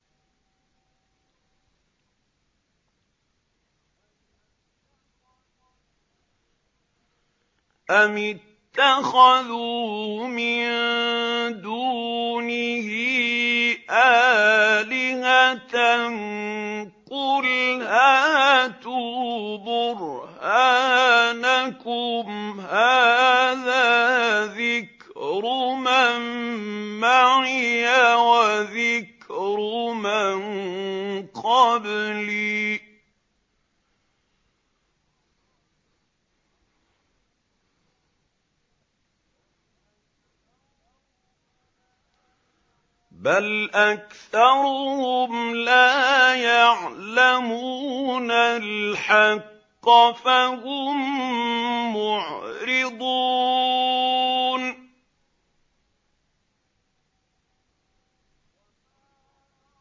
أَمِ اتَّخَذُوا مِن دُونِهِ آلِهَةً ۖ قُلْ هَاتُوا بُرْهَانَكُمْ ۖ هَٰذَا ذِكْرُ مَن مَّعِيَ وَذِكْرُ مَن قَبْلِي ۗ بَلْ أَكْثَرُهُمْ لَا يَعْلَمُونَ الْحَقَّ ۖ فَهُم مُّعْرِضُونَ